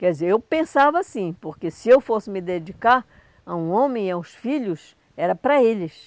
Quer dizer, eu pensava assim, porque se eu fosse me dedicar a um homem e aos filhos, era para eles.